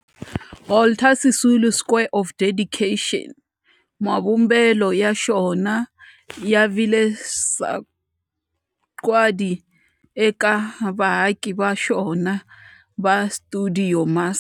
Walter Sisulu Square of Dedication, mavumbelo ya xona ya vile sagwadi eka vaaki va xona va stuidio MAS.